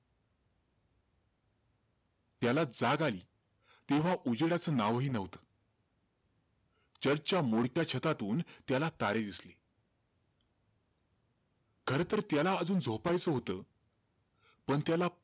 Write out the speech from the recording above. त्याला जाग अली तेव्हा उजेडाचं नावही नव्हता. Church च्या मोडक्या छतातून त्याला तारे दिसले खरं तर त्याला अजून झोपायचं होतं. पण त्याला,